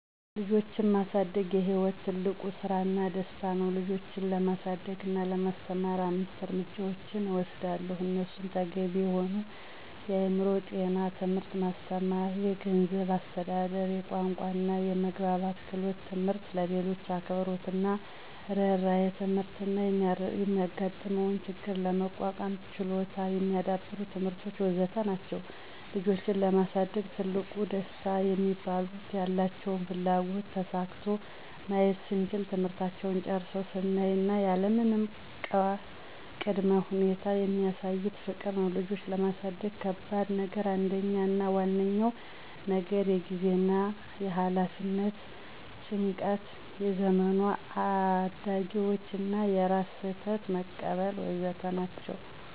ልጆችን ማሳደግ የሕይወት ትልቁ ስራና ደስታ ነው ልጆችን ለማሳደግ እና ለማስተማር አምስት እርምጃዎችን እወስዳለሁ እነሱም ተገቢ የሆነ የአእምሮ ጤናው ትምህርት ማስተማር፣ የገንዝብ አስተዳደር፣ የቋንቋና የመግባባት ክህሎት ትምህርት፣ ለሌሎች አክብሮትና እርህራሄ ትምህርት እና የሚጋጥመውን ችግር ለመቋቋም ችሎታ የሚዳብሩ ትምህርቶች.. ወዘተ ናቸዉ። ልጆችን ለማሳደግ ትልቁ ደስታ ሚባሉት፦ ያላቸውን ፍላጎት ተሳክቶ ማየት ስንችል፣ ትምህርታቸውን ጨርሰው ስናይ እና ያለምንም ቀ ቅድመ ሁኔታ የሚሳዩን ፍቅር ነው። ልጆችን ለማሳደግ ከባድ ነገር አንደኛው አና ዋነኛው ነገር የጊዜና የኋላፊነት ጭንቀት፣ የዘመኑ አዳጊዎቹ እና የራስን ስህተት መቀበል.. ወዘተ ናቸው።